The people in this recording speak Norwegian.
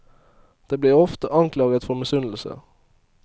De blir ofte anklaget for misunnelse.